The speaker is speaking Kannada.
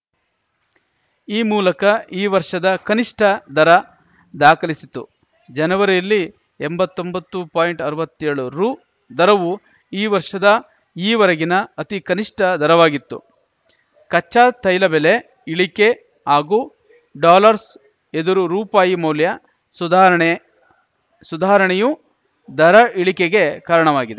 ಈ ಮೂಲಕ ಈ ವರ್ಷದ ಕನಿಷ್ಠ ದರ ದಾಖಲಿಸಿತು ಜನವರಿಯಲ್ಲಿ ಎಂಬತ್ತೊಂಬತ್ತು ಪಾಯಿಂಟ್ ಅರ್ವತ್ತೆಳು ರು ದರವು ಈ ವರ್ಷದ ಈವರೆಗಿನ ಅತಿ ಕನಿಷ್ಠ ದರವಾಗಿತ್ತು ಕಚ್ಚಾ ತೈಲ ಬೆಲೆ ಇಳಿಕೆ ಹಾಗೂ ಡಾಲರ್ಸ್ ಎದುರು ರುಪಾಯಿ ಮೌಲ್ಯ ಸುಧಾರಣೆ ಸುಧಾರಣೆಯು ದರ ಇಳಿಕೆಗೆ ಕಾರಣವಾಗಿದೆ